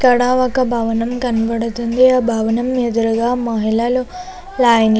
ఇక్కడ ఒక భవనం కనపడుతుంది ఆ భవనం ఎదురుగా మహిళలు లైన్ --